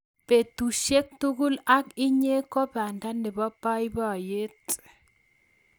petushiek tugul ak inye ko banda nebo baibaiyet